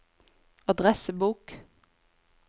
adressebok